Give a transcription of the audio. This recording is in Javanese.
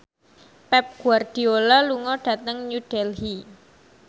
Pep Guardiola lunga dhateng New Delhi